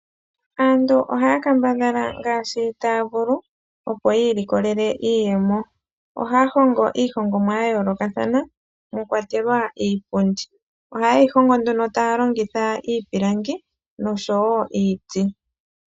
Aantu ohaya kambadhala ngaashi taya vulu opo yi ilikolele iiyemo. Ohaya hongo iihongomwa ya yoolokathana, moka mwa kwatelwa wo iipundi. Ohaye yi hongo nduno taya longitha iipilangi nosho wo iiti.